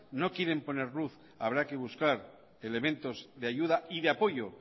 no quieren poner luz habrá que buscar elementos de ayuda y de apoyo